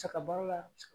Saga baro la